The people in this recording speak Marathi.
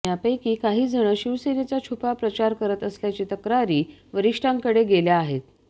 यापैकी काही जण शिवसेनेचा छुपा प्रचार करत असल्याची तक्रारी वरिष्ठांकडे गेल्या आहेत